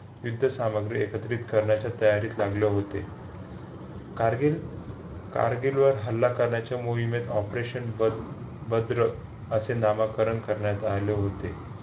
विद्या सामग्री करण्याच्या तयारीला लागले होते. कारगिल कारगिल वर हल्ला करण्याच्या मोहिमेत operation बल भद्रा असे नामकरण करण्यात आले होते.